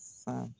Sa